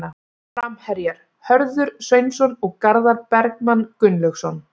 Framherjar: Hörður Sveinsson og Garðar Bergmann Gunnlaugsson.